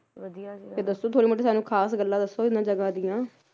ਵਧੀਆ ਸੀ ਫੇਰ ਦੱਸੋ ਥੋੜੀ ਮੋਟੀ ਸਾਨੂੰ ਖਾਸ ਗੱਲਾਂ ਦੱਸੋ ਇਹਨਾਂ ਜਗ੍ਹਾ ਦੀਆਂ